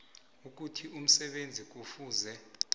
ukuthi umsebenzi kufuze